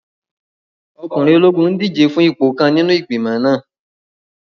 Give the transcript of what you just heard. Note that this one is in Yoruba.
Ọkùnrin ológun n díje fún ipò kan nínú igbimọ̀ náà